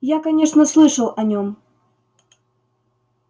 я конечно слышал о нем